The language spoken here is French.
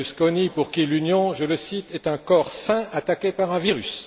Berlusconi pour qui l'Union, je le cite est un corps sain attaqué par un virus.